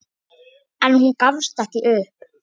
En hún gafst ekki upp.